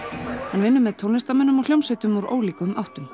hann vinnur með tónlistarmönnum og hljómsveitum úr ólíkum áttum